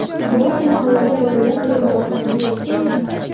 Biroq mahallada bolalar o‘yingohlari yo‘q.